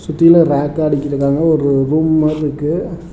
கீழ ராக்லாம் அடுக்கி இருக்காங்க ஒரு ரூம் மாதிரி இருக்கு.